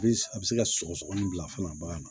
A bɛ se ka sɔgɔsɔgɔnin bila fana bagan na